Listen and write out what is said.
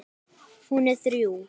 Hún er þrjú.